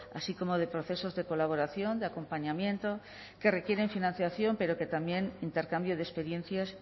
así como de procesos de colaboración de acompañamiento que requieren financiación pero también intercambio de experiencias